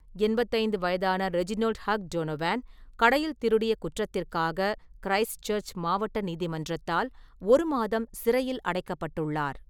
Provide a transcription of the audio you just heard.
எண்பத்தைந்து வயதான Reginald Hugh Donovan, கடையில் திருடிய குற்றத்திற்காக கிறைஸ்ட்சர்ச் மாவட்ட நீதிமன்றத்தால் ஒரு மாதம் சிறையில் அடைக்கப்பட்டுள்ளார்.